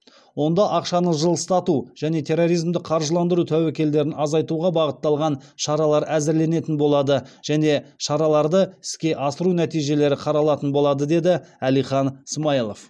онда ақшаны жылыстату және терроризмді қаржыландыру тәуекелдерін азайтуға бағытталған шаралар әзірленетін болады және шараларды іске асыру нәтижелері қаралатын болады деді әлихан смайылов